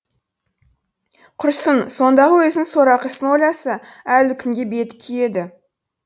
құрсын сондағы өзінің сорақы ісін ойласа әлі күнге беті күйеді